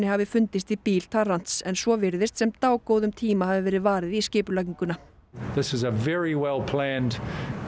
hafi fundist í bíl en svo virðist sem dágóðum tíma hafi verið varið í skipulagninguna